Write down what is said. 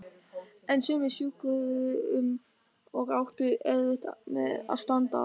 En sumir skjögruðu um og áttu erfitt með að standa.